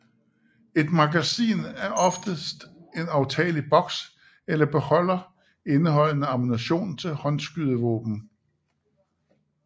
Et magasin er oftest en aftagelig boks eller beholder indeholdende ammunition til håndskydevåben